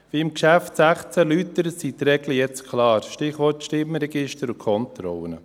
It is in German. Wie im Geschäft 16 erläutert, sind die Regeln jetzt klar, Stichwort Stimmregister und Kontrollen.